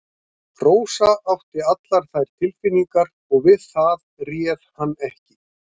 Rósa átti allar þær tilfinningar og við það réð hann ekki.